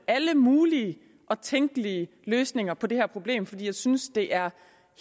alle mulige og tænkelige løsninger på det her problem fordi jeg synes det er